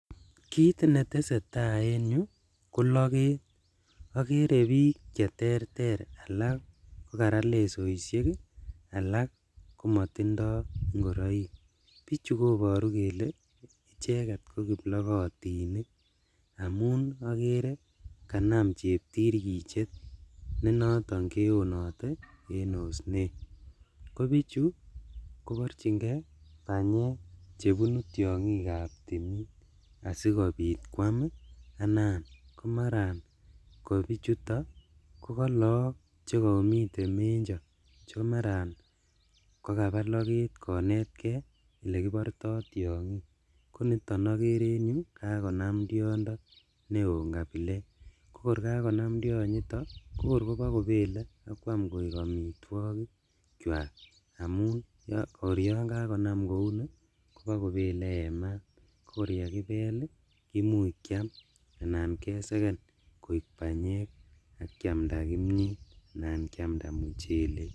Kit netesee taa en yu koloket okere bik cheterter alak kokarat lesoishek ii alak komotindo ingoroik, bichu koboru keke icheket kokiblokitinik amun okere kanam cheptirkichet nenoton keonote en osnet, kobichu konorjingee banyek chebunu tiongikab timin asikobit kwam ii anan komaran anan kobichuton ko kolook chekomiten menjo chemaran kakabaa loget konetkee elekiborto tiongik koniton okere en yu kakonam tiondo neon kabilet kokor kakonam tionyito kokor kobokobele ak kwam koik omitwogik kyak amun kor yon kakonam kouni kobokobele en maat kokor yekibel ii komuch kiam anan keseken koik banyek ak kiamda kimiet anan kiamda muchelek.